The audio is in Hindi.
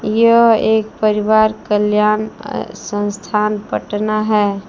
यह एक परिवार कल्याण अह संस्थान पटना है।